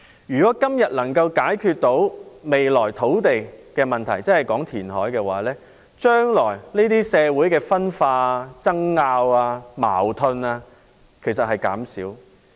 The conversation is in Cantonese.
如果今天能找到解決未來的土地問題的方法，即填海的話，將來社會的分化、爭拗和矛盾便會減少。